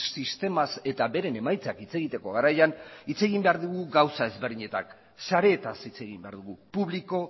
sistemaz eta beren emaitzak hitz egiteko garaian hitz egin behar dugu gauza ezberdinetaz sareetaz hitz egin behar dugu publiko